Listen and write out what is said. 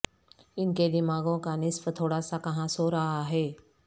ان کے دماغوں کا نصف تھوڑا سا کہاں سو رہا ہے